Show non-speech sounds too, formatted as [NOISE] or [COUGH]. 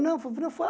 Não, foi [UNINTELLIGIBLE]